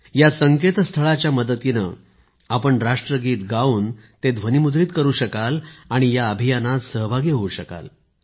या संकेतस्थळाच्या मदतीने आपण राष्ट्रगीत गाऊन ते ध्वनिमुद्रित करु शकाल आणि या अभियानात सहभागी होऊ शकाल